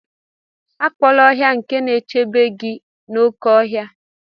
Akpọla ọhịa nke na-echebe gị n'oké ọhịa.